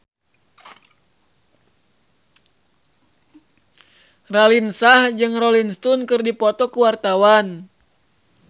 Raline Shah jeung Rolling Stone keur dipoto ku wartawan